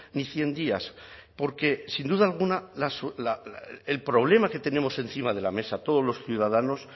ni cien días porque sin duda alguna el problema que tenemos encima de la mesa todos los ciudadanos